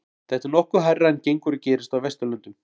Þetta er nokkuð hærra en gengur og gerist á Vesturlöndum.